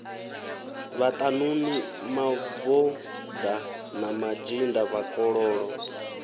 vhaṱanuni mavoḓa na mazhinda vhakololo